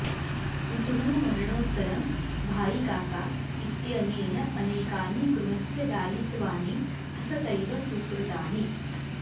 पितुः मरणोत्तरं भाईकाका इत्यनेन अनेकानि गृहस्य दायित्वानि हसतैव स्वीकृतानि